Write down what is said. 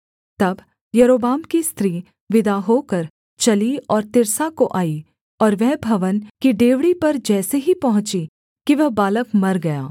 तब यारोबाम की स्त्री विदा होकर चली और तिर्सा को आई और वह भवन की डेवढ़ी पर जैसे ही पहुँची कि वह बालक मर गया